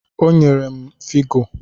O nyere m figo